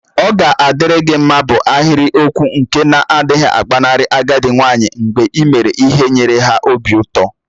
Oga adiri gi mma bu ahiriokwụ nke na-adighi agbanarị agadi nwanyi mgbe ị mere ihe nyere ha obi ụtọ.